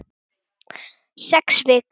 Sex vikur.